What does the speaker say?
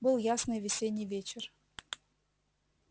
был ясный весенний вечер